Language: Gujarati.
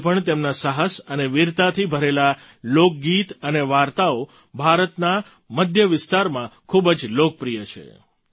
આજે પણ તેમના સાહસ અને વીરતાથી ભરેલાં લોકગીત અને વાર્તાઓ ભારતના મધ્ય વિસ્તારમાં ખૂબ જ લોકપ્રિય છે